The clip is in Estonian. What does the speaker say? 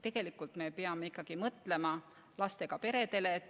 Tegelikult me peame ikkagi mõtlema lastega peredele.